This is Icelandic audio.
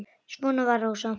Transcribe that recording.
Svona var Rósa.